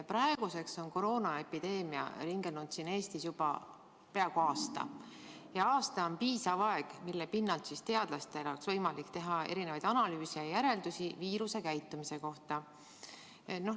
Praeguseks on koroonaepideemia siin Eestis ringelnud juba peaaegu aasta ja aasta on piisav aeg, mille pinnalt on teadlastel võimalik teha analüüse ja järeldusi viiruse käitumise kohta.